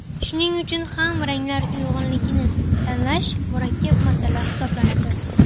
Shuning uchun ham ranglar uyg‘unligini tanlash murakkab masala hisoblanadi.